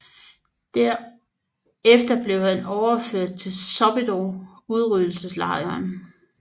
Derefter blev han overført til Sobibór udryddelseslejren